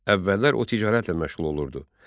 Əvvəllər o ticarətlə məşğul olurdu.